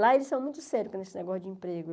Lá eles são muito sérios com esse negócio de emprego.